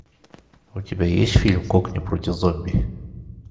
у тебя есть фильм кокни против зомби